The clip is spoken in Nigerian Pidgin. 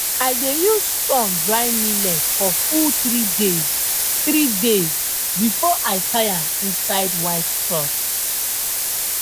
i dey use sun dry millet for full three days three days before i tie am inside white cloth